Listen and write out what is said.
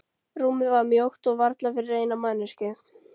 Rúmið var mjótt og varla fyrir eina manneskju.